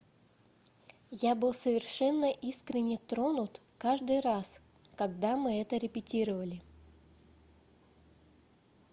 я был совершенно искренне тронут каждый раз когда мы это репетировали